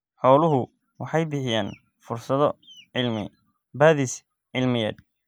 Xooluhu waxay bixiyaan fursado cilmi-baadhis cilmiyeed.